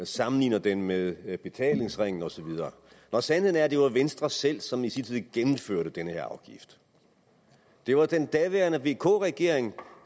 sammenligner den med med betalingsringen osv når sandheden er at det var venstre selv som i sin tid gennemførte den her afgift det var den daværende vk regering